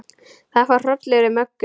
Það fór hrollur um Möggu.